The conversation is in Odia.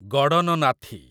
ଗଡ଼ନନାଥୀ